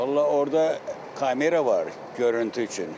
Vallah, orda kamera var görüntüsü üçün.